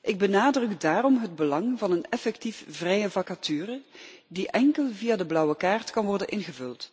Ik benadruk daarom het belang van een effectief vrije vacature die enkel via de blauwe kaart kan worden ingevuld.